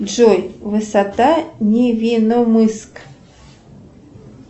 джой высота невиномыск